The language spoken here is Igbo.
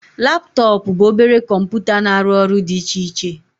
Laptọọpụ bụ obere kọmputa na-arụ ọrụ dị iche iche